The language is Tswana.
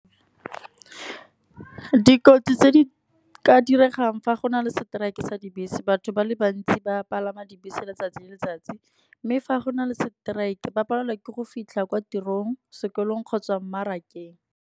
Dikotsi tse di ka diregang fa go na le strike-e sa di bese, batho ba le bantsi ba palama dibese letsatsi le letsatsi. Mme fa go na le strike, ba palelwa ke go fitlha kwa tirong sekolong kgotsa mmarakeng.